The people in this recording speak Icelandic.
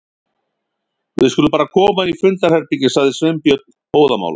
Við skulum bara koma inn í fundarherbergi- sagði Sveinbjörn óðamála.